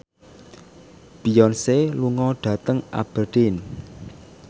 Beyonce lunga dhateng Aberdeen